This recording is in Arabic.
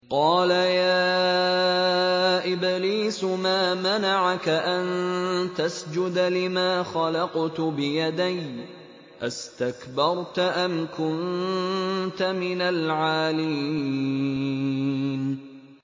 قَالَ يَا إِبْلِيسُ مَا مَنَعَكَ أَن تَسْجُدَ لِمَا خَلَقْتُ بِيَدَيَّ ۖ أَسْتَكْبَرْتَ أَمْ كُنتَ مِنَ الْعَالِينَ